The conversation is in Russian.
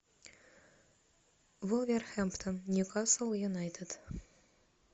вулверхэмптон ньюкасл юнайтед